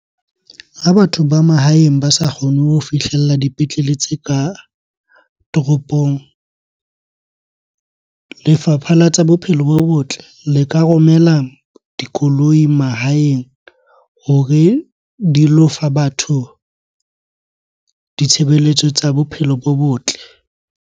Ha batho ba mahaeng ba sa kgone ho fihlella dipetlele tse ka toropong, lefapha la tsa bophelo bo botle le ka romela dikoloi mahaeng hore di lo fa batho ditshebeletso tsa bophelo bo botle.